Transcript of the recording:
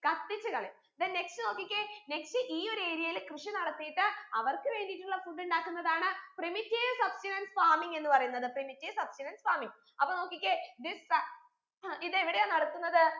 കത്തിച്ച് കളയും then next നോക്കിക്കേ next ഈ ഒരു area യിൽ കൃഷി നടത്തീട്ട് അവർക്ക് വേണ്ടീട്ടുള്ള food ഉണ്ടാക്കുന്നതാണ് primitive substenance farming എന്ന് പറയുന്നത് primitive substenance farming അപ്പൊ നോക്കിക്കേ this fa ഉം ഇത് എവിടെയാ നടക്കുന്നത്